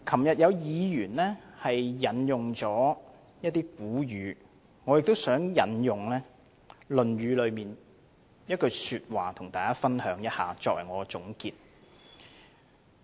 有議員昨天引用了一些古語，我也想與大家分享《論語》的一些話，作為我的總結。